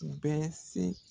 U bɛ se